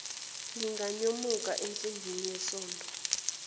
linganyomuka ensimbini yesondo